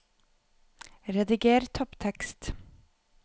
Rediger topptekst